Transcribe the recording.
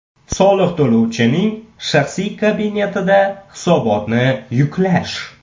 Soliq to‘lovchining shaxsiy kabinetida hisobotni yuklash.